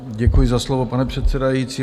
Děkuji za slovo, pane předsedající.